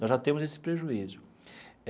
Nós já temos esse prejuízo.